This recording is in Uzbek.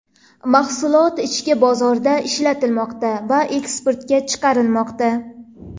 Mahsulot ichki bozorda ishlatilmoqda va eksportga chiqarilmoqda.